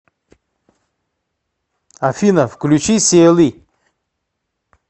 афина включи сиэли